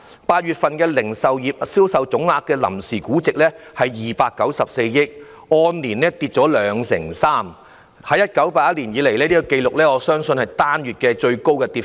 8月份零售業銷售總額的臨時估值是294億元，按年下跌兩成三，我相信是自1981年有紀錄以來最高的單月跌幅。